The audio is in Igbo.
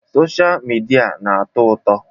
Sọsha mịdia na-atọ ụtọ.